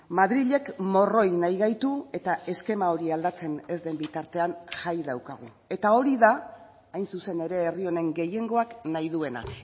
madrilek morroi nahi gaitu eta eskema hori aldatzen ez den bitartean jai daukagu eta hori da hain zuzen ere herri honen gehiengoak nahi duena